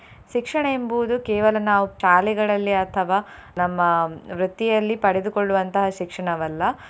ಶಿಕ್ಷಣ ಎಂಬುವುದು ಕೇವಲ ನಾವು ಶಾಲೆಗಳಲ್ಲಿ ಅಥವಾ ನಮ್ಮ ವೃತ್ತಿಯಲ್ಲಿ ಪಡೆದುಕೊಳ್ಳುವಂತಹ ಶಿಕ್ಷಣವಲ್ಲ.